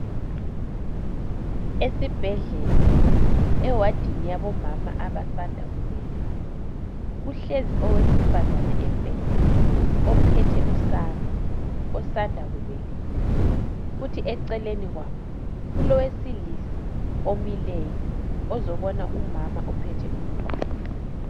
Esibhedlela ewadini yabo mama abasanda kubeletha ,kuhlezi owesifazane embhedeni ophethe usana osanda kubeletha, kuthi eceleni kwabo kulowesilisa omileyo ,ozobona umama ophethe umntwana.